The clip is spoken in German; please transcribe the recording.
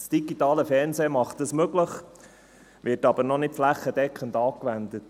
Das digitale Fernsehen macht das möglich, wird aber noch nicht flächendeckend angewendet.